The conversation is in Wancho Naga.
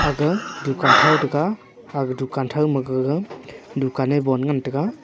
aga dukan thao taga aga dukan thao maga dukan bon ngan taiga.